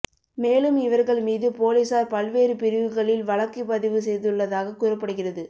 மேலும் இவர்கள் மீது போலீசார் பல்வேறு பிரிவுகளில் வழக்கு பதிவு செய்துள்ளதாக கூறப்படுகிறது